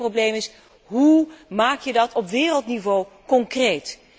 Maar het hele probleem is hoe maak je dat op wereldniveau concreet?